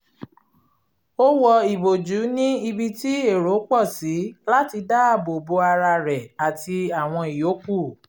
ó wọ ìbòjú ní ibi tí èrò pọ̀ sí láti dá àbò bo ara rẹ̀ àti àwọn ìyókù